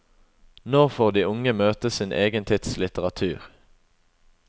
Nå får de unge møte sin egen tids litteratur.